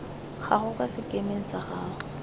gago kwa sekemeng sa gago